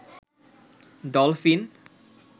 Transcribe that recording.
dolphin